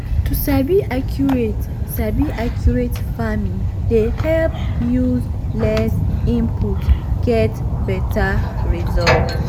to sabi accurate sabi accurate farming dey help use less input get beta result.